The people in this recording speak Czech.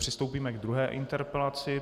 Přistoupíme k druhé interpelaci.